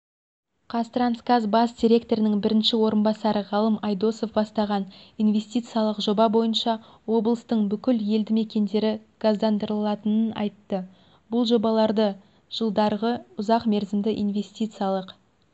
қазтрансгаз бас директорының бірінші орынбасары ғалым айдосов басталған инвестициялық жоба бойынша облыстың бүкіл елді-мекендері газдандырылатынын айтты бұл жобаларды жылдарғы ұзақ мерзімді инвестициялық